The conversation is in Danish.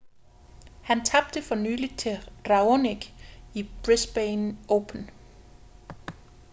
han tabte for nylig til raonic i brisbane open